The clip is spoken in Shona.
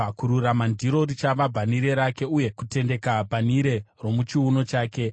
Kururuma ndiro richava bhanhire rake uye kutendeka bhanhire romuchiuno chake.